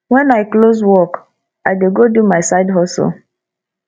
wen i close work i dey go do my side hustle